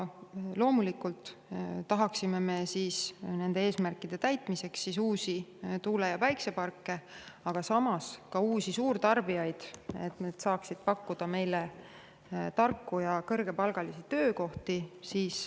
Loomulikult tahaksime me nende eesmärkide täitmiseks liita elektrivõrku uusi tuule- ja päikeseparke, aga samas ka uusi suurtarbijaid, kes saaksid pakkuda meile tarku ja kõrgepalgalisi töökohti.